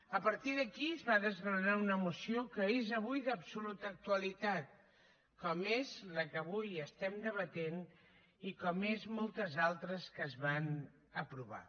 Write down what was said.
a partir d’aquí es va desgranar una moció que és avui d’absoluta actualitat com és la que avui estem debatent i com són moltes altres que es van aprovar